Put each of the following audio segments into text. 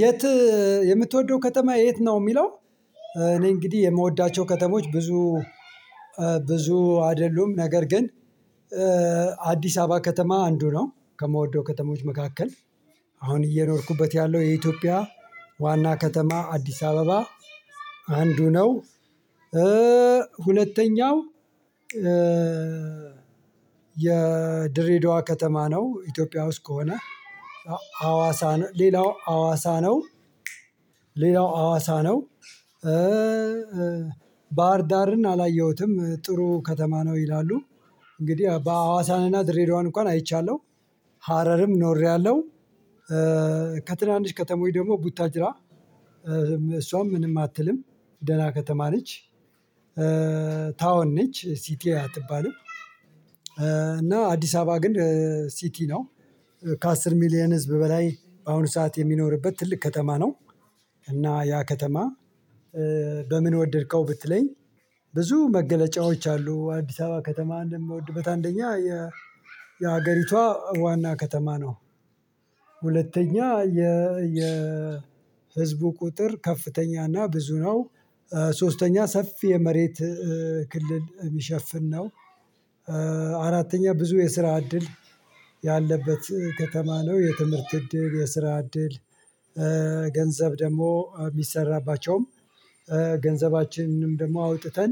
የት የምትወደው ከተማ የት ነው የሚለው? እኔ እንግዲህ የምወዳቸው ከተሞች ብዙ ብዙ አይደሉም ነገር ግን አዲስ አበባ ከተማ አንዱ ነው ከምወደው ከተሞች መካከል። አሁን እየኖርኩበት ያለው የኢትዮጵያ ዋና ከተማ አዲስ አበባ አንዱ ነው። ሁለተኛው የድሬዳዋ ከተማ ነው። ኢትዮጵያ ውስጥ ከሆነ ሀዋሳ ሌላው ሀዋሳ ነው። ሌላው አዋሳ ነው። ባህር ዳርን አላየሁትም ጥሩ ከተማ ነው ይላሉ። እንግዲህ በሀዋሳንና ድሬዳዋን እንኳን አይቻለሁ ሀረርም ኖሬያለሁ። ከትናንሽ ከተማዎች ደግሞ ቡታጅራ እሷም ምንም አትልም ደህና ከተማ ነች። ታወን ነች ሲቲ አትባልም። እና አዲስ አበባ ግን ሲቲ ነው ከ10 ሚሊየን ህዝብ በላይ በአሁኑ ሰዓት የሚኖርበት ትልቅ ከተማ ነው። እና ያ ከተማ በምን ወደድከው ብትለኝ ብዙ መገለጫዎች አሉ። አዲስ አበባ ከተማ የምወድበት አንደኛ የ የሀገሪቷ ዋና ከተማ ነው። ሁለተኛ የ የ ህዝቡ ቁጥር ከፍተኛ እና ብዙ ነው። ሶስተኛ ሰፊ የመሬት ክልል የሚሸፍን ነው። አራተኛ ብዙ የስራ እድል ያለበት ከተማ ነው። የትምህርት እድል የስራ እድል ገንዘብ ደግሞ የሚሰራባቸውም ገንዘባችንንም ደግሞ አውጥተን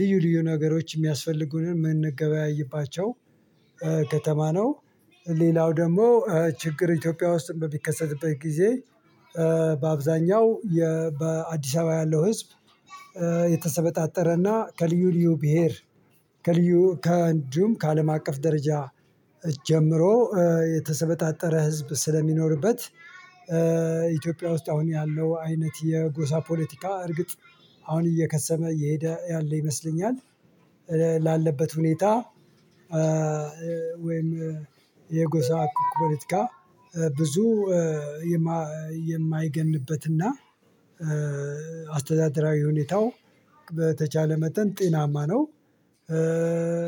ልዩ ልዩ ነገሮች የሚያስፈልጉንን የምንገበያይባቸው ከተማ ነው። ሌላው ደግሞ ችግር ኢትዮጵያ ውስጥ በሚከሰትበት ጊዜ በአብዛኛው በአዲስ አበባ ያለው ህዝብ የተሰበጣጠረና ከልዩ ልዩ ብሄር ከልዩ ከእንዱም ከአለም አቀፍ ደረጃ ጀምሮ የተሰበጣጠረ ህዝብ ስለሚኖርበት። ኢትዮጵያ ውስጥ አሁን ያለው አይነት የጎሳ ፖለቲካ እርግጥ አሁን እየከሰመ እየሄደ ያለ ይመስለኛል። ላለበት ሁኔታ ወይም የጎሳ ፖለቲካ ብዙ የማይገንበትና አስተዳደራዊ ሁኔታው በተቻለ መጠን ጤናማ ነው።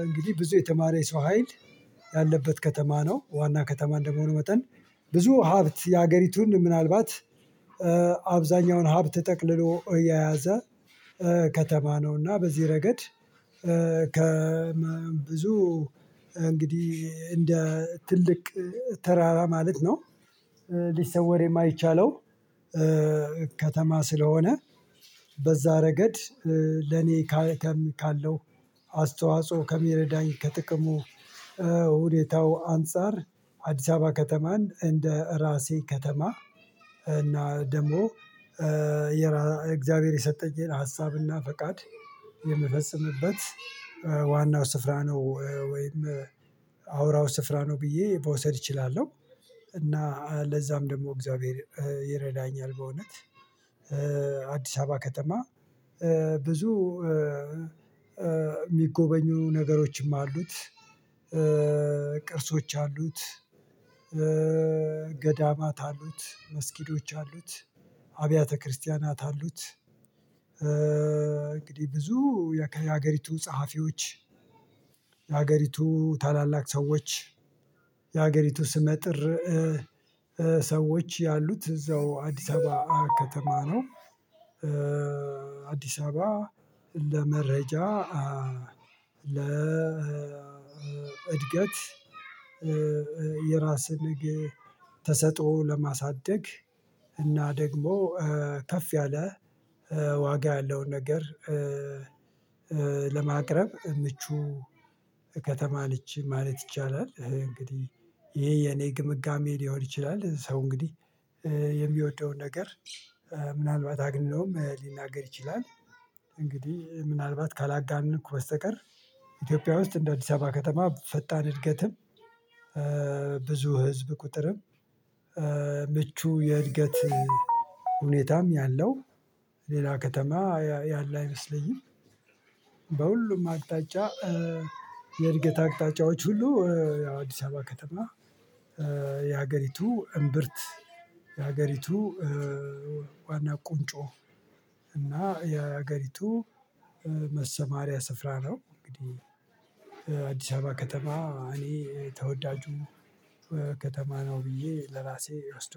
እንግዲህ ብዙ የተማረ የሰው ሀይል ያለበት ከተማ ነው ዋና ከተማ እንደመሆነ መጠን ብዙ ሀብት የሀገሪቱን ምናልባት አብዛኛውን ሀብት ጠቅልሎ የያዘ ከተማ ነውና በዚህ ረገድ ከብዙ እንግዲህ እንደ ትልቅ ተራራ ማለት ነው። ሊሰወር የማይቻለው ከተማ ስለሆነ በዛ ረገድ ለኔ ካለው አስተዋጽኦ ከሚረዳኝ ከጥቅሙ ከሁኔታው አንፃር አዲስ አበባ ከተማን እንደ ራሴ ከተማ እና ደግሞ የእግዚአብሔር የሰጠኝን ሀሳብና ፈቃድ የምፈጽምበት ዋናው ስፍራ ነው። ወይም አውራው ስፍራ ነው ብዬ መውሰድ እችላለሁ። እና ለዛም ደግሞ እግዚአብሔር ይረዳኛል። በእውነት አዲስ አበባ ከተማ ብዙ የሚጎበኙ ነገሮችም አሉት። ቅርሶች አሉት ገዳማት አሉት መስጊዶች አሉት አብያተ ክርስቲያናት አሉት እንግዲህ ብዙ የሀገሪቱ ጸሀፊዎች የሀገሪቱ ታላላቅ ሰዎች የሀገሪቱ ስመጥር ሰዎች ያሉት እዛው አዲስ አበባ ከተማ ነው። አዲስ አበባ ለመረጃ ለእድገት የራስን ተሰጥኦ ለማሳደግ እና ደግሞ ከፍ ያለ ዋጋ ያለውን ነገር ለማቅረብ ምቹ ከተማ ነች ማለት ይቻላል። እንግዲህ ይሄ የኔ ግምጋሜ ሊሆን ይችላል። ሰው እንግዲህ የሚወደውን ነገር ምናልባት አግንነውም ሊናገር ይችላል። እንግዲህ ምናልባት ካላጋነንኩ በስተቀር ኢትዮጵያ ውስጥ እንደ አዲስ አበባ ከተማ ፈጣን እድገትም ብዙ ህዝብ ቁጥርም ምቹ የእድገት ሁኔታ ነው ያለው። ሌላ ከተማ ያለ አይመስለኝም። በሁሉም አቅጣጫ የእድገት አቅጣጫዎች ሁሉ አዲስ አበባ ከተማ የሀገሪቱ እምብርት የሀገሪቱ ዋና ቁንጮ እና የሀገሪቱ መሰማሪያ ስፍራ ነው። እንግዲህ አዲስ አበባ ከተማ እኔ ተወዳጁ ከተማ ነው ብዬ ለራሴ እወስደዋለሁ